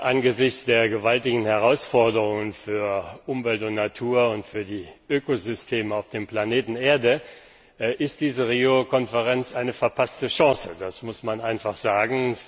Angesichts der gewaltigen Herausforderungen für Umwelt und Natur und für die Ökosysteme auf dem Planeten Erde ist diese Rio Konferenz eine verpasste Chance, das muss man einfach sagen.